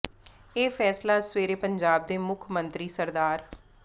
ਇਹ ਫੈਸਲਾ ਅੱਜ ਸਵੇਰੇ ਪੰਜਾਬ ਦੇ ਮੁੱਖ ਮੰਤਰੀ ਸ